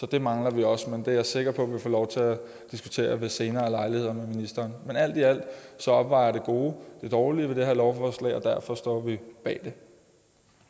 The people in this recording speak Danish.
det mangler vi også men det er jeg sikker på at vi får lov til at diskutere ved senere lejligheder men alt i alt opvejer det gode det dårlige ved det her lovforslag og derfor står vi bag